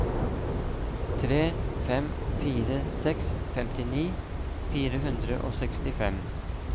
tre fem fire seks femtini fire hundre og sekstifem